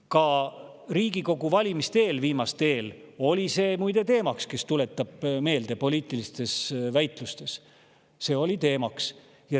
Ka viimaste Riigikogu valimiste eel oli see muide teemaks, tuletame meelde, poliitilistes väitlustes oli see teemaks.